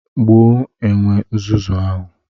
Gbuo enwe nzuzu ahụ!